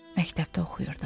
Məktəbdə oxuyurdu.